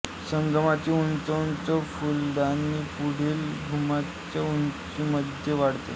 संगमाची उंच उंच फुलदाणी पुढील घुमटाच्या उंचीमध्ये वाढवते